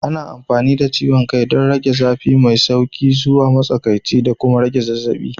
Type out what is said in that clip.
Ana amfani da ciwon kai don rage zafi mai sauƙi zuwa matsakaici da kuma rage zazzabi.